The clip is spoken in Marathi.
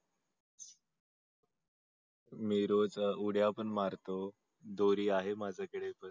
मी रोज उड्या पण मारतो दोरी आहे माझ्या कडे.